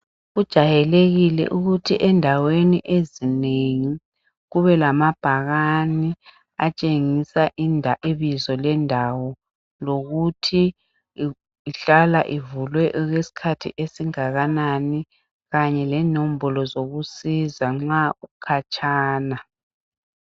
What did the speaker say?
Kujwayilekile ukuthi endaweni ezinengi kube lamabhakani etshengisa ibizo lendawo, lokuthi ihlala ivulwe okwesikhathi esingakanani kanye lenombolo zokusiza nxa ukutshana.